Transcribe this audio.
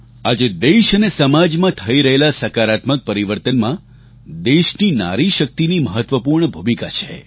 આજે દેશ અને સમાજમાં થઈ રહેલા સકારાત્મક પરિવર્તનમાં દેશની નારી શક્તિની મહત્ત્વપૂર્ણ ભૂમિકા છે